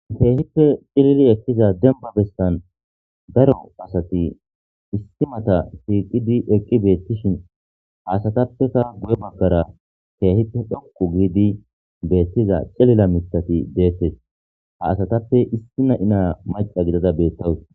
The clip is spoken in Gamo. keehippe cilila ekkiza demba bestan daro asati istimata siiqidi eqqi beettishin haasatappeka guye baggara keehippe dhoqu giidi beettiza cilila mitati deettes haasatappe issi na7inaa maca gidada beettawus